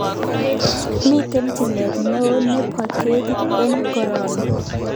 Mi tilet neo ne po ketik eng' koroni